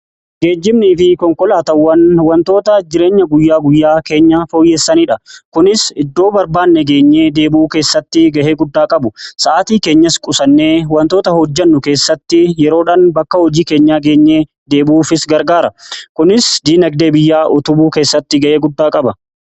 Gejjiibanii fi konkolaatawwan wantoota jireenya guyyaa guyyaa keenya fooyyessaniidha. Kunis iddoo barbaanne geenyee deebuu keessatti ga'ee guddaa qabu sa'aatii keenyas qusannee wantoota hojjennu keessatti yeroodhan bakka hojii keenya geenyee deebuufi gargaara kunis diinagdee biyyaa utubu keessatti ga'ee guddaa qaba.